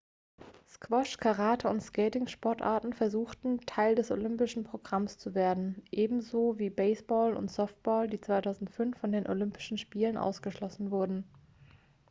squash karate und skating-sportarten versuchten teil des olympischen programms zu werden ebenso wie baseball und softball die 2005 von den olympischen spielen ausgeschlossen wurden